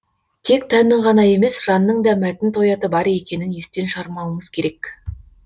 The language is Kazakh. тек тәннің ғана емес жанның да мәтін тояты бар екенін естен шығармауымыз керек